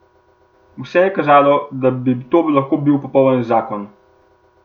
Vse je kazalo, da bi to lahko bil popoln zakon.